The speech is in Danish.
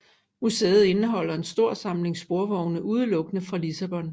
Museet indeholder en stor samling sporvogne udelukkende fra Lissabon